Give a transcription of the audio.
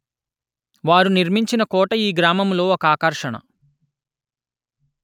వారు నిర్మించిన కోట ఈ గ్రామములొ ఒక ఆకర్షణ